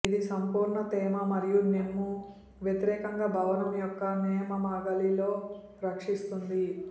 ఇది సంపూర్ణ తేమ మరియు నెమ్ము వ్యతిరేకంగా భవనం యొక్క నేలమాళిగలో రక్షిస్తుంది